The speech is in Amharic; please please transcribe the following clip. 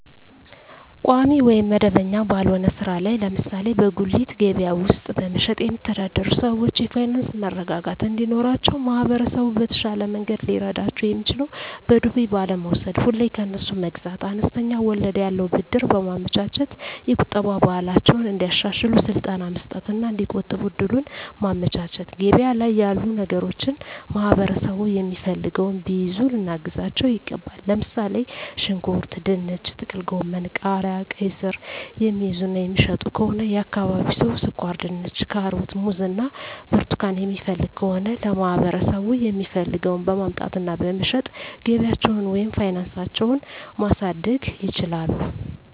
ቋሚ ወይም መደበኛ ባልሆነ ሥራ ላይ (ለምሳሌ በጉሊት ገበያ ውስጥ በመሸጥ)የሚተዳደሩ ሰዎች የፋይናንስ መረጋጋት እንዲኖራቸው ማህበረሰቡ በተሻለ መንገድ ሊረዳቸው የሚችለው በዱቤ ባለመውስድ፤ ሁሌ ከነሱ መግዛት፤ አነስተኛ ወለድ ያለው ብድር በማመቻቸት፤ የቁጠባ ባህላቸውን እንዲያሻሽሉ ስልጠና መስጠት እና እዲቆጥቡ እድሉን ማመቻቸት፤ ገበያ ላይ ያሉ ነገሮችን ማህበረሠቡ የሚፈልገውን ቢይዙ ልናግዛቸው ይገባል። ለምሣሌ፦ ሽንኩርት፤ ድንች፤ ጥቅልጎመን፤ ቃሪያ፤ ቃይስር፤ የሚይዙ እና የሚሸጡ ከሆነ የአካባቢው ሠው ስኳርድንች፤ ካሮት፤ ሙዝ እና ብርቱካን የሚፈልግ ከሆነ ለማህበረሰቡ የሚፈልገውን በማምጣት እና በመሸጥ ገቢያቸውን ወይም ፋናሳቸው ማሣደግ ይችላሉ።